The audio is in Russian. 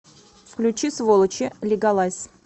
включи сволочи лигалайз